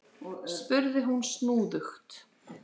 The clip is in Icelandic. spurði hún snúðugt.